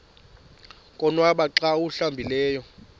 konwaba xa awuhlambileyo